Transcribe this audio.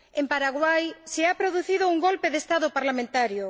En Paraguay se ha producido un golpe de Estado parlamentario.